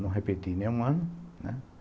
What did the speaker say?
Não repeti nenhum ano, né.